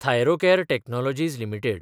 Thyrocare technologies limited